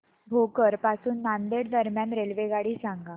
भोकर पासून नांदेड दरम्यान रेल्वेगाडी सांगा